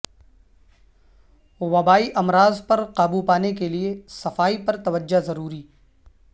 وبائی امراض پر قابو پانے کیلئے صفائی پر توجہ ضروری